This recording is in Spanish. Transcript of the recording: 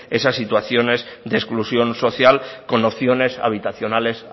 esas situaciones de exclusión social con opciones habitacionales